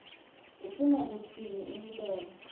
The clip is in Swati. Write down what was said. ufuna kutsini imibono